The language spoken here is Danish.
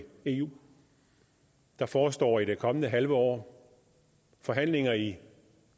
eu der forestår i det kommende halve år forhandlinger i